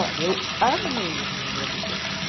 Olha, eu amei a minha gravidez.